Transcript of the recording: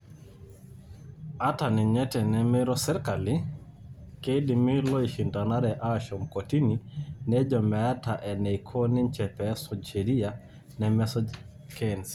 Ata ninye tenemeiro sirkali, keidimilooishindanare ashom kotini nejo meeta enaiko ninche pesuj sheria, nemesuj KEC.